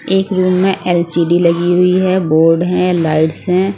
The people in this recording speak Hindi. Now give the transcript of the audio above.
एक रूम में एल_सी_डी लगी हुई है बोर्ड हैं लाइट्स हैं।